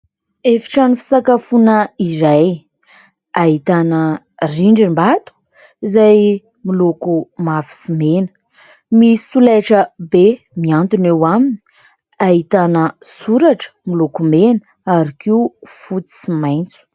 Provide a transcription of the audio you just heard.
Efi-trano fisakafona iray ahitana rindrim-bato izay miloko mavo sy mena. Misy solaitrabe miantona eo aminy, ahitana soratra miloko mena ary koa fotsy sy maitso.